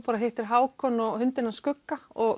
hittir Hákon og hundinn skugga og